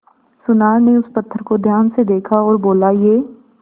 सुनार ने उस पत्थर को ध्यान से देखा और बोला ये